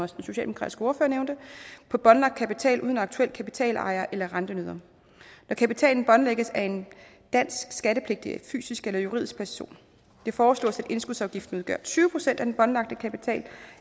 socialdemokratiske ordfører nævnte på båndlagt kapital uden aktuel kapitalejer eller rentenyder når kapitalen båndlægges af en dansk skattepligtig fysisk eller juridisk person det foreslås at indskudsafgiften udgør tyve procent af den båndlagte kapital